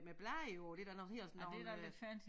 Med blade og det der noget ligner sådan nogle øh